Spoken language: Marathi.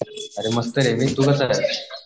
अरे मस्त आहे मी तू कसा आहे?